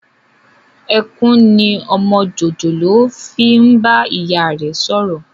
Ẹkún ni ọmọ jòjòló fi ń bá ìyá rẹ sọ̀rọ̀